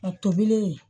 A tobilen